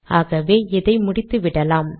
ஆகவே இதை முடித்துவிடலாம்